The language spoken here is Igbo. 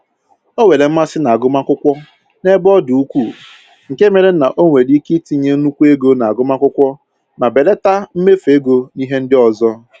O nwere mmasị na-agụmakwụkwọ n'ebe ọ dị ukwuu nke mere na o nwere ike itinye nnukwu ego n'agụmakwụkwọ ma belata mmefu ego n'ihe ndị ọzọ